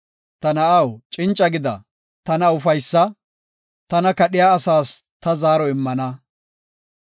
Ta na7aw, cinca gida; tana ufaysa; tana kadhiya asaas ta zaaro immana.